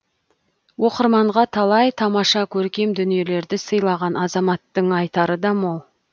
оқырманға талай тамаша көркем дүниелерді сыйлаған азаматтың айтары да мол